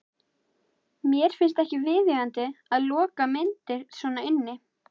Mér finnst ekki viðeigandi að loka myndir svona inni.